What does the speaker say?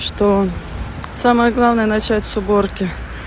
что самое главное начать с уборки